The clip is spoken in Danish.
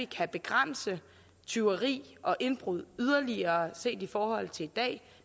kan begrænse tyveri og indbrud yderligere set i forhold til i dag